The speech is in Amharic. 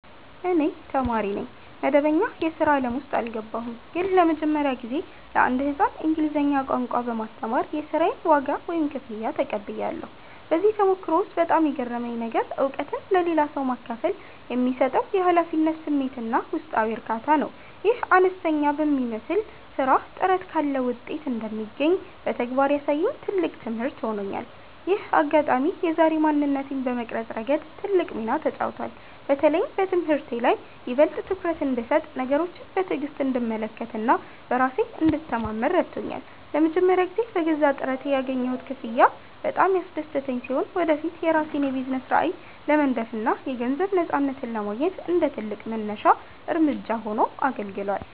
እኔ ተማሪ ነኝ፣ መደበኛ የሥራ ዓለም ውስጥ አልገባሁም። ግን ለመጀመሪያ ጊዜ ለአንድ ሕፃን እንግሊዝኛ ቋንቋ በማስተማር የሥራዬን ዋጋ (ክፍያ) ተቀብያለሁ። በዚህ ተሞክሮ ውስጥ በጣም የገረመኝ ነገር፣ እውቀትን ለሌላ ሰው ማካፈል የሚሰጠው የኃላፊነት ስሜትና ውስጣዊ እርካታ ነው። ይህ አነስተኛ የሚመስል ሥራ ጥረት ካለ ውጤት እንደሚገኝ በተግባር ያሳየኝ ትልቅ ትምህርት ሆኖኛል። ይህ አጋጣሚ የዛሬ ማንነቴን በመቅረጽ ረገድ ትልቅ ሚና ተጫውቷል። በተለይም በትምህርቴ ላይ ይበልጥ ትኩረት እንድሰጥ፣ ነገሮችን በትዕግሥት እንድመለከትና በራሴ እንድተማመን ረድቶኛል። ለመጀመሪያ ጊዜ በገዛ ጥረቴ ያገኘሁት ክፍያ በጣም ያስደሰተኝ ሲሆን፣ ወደፊት የራሴን የቢዝነስ ራዕይ ለመንደፍና የገንዘብ ነፃነትን ለማግኘት እንደ ትልቅ መነሻ እርምጃ ሆኖ አገልግሏል።